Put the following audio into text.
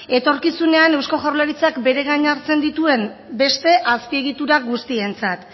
etorkizunean eusko jaurlaritzak bere gain hartzen dituen beste azpiegitura guztientzat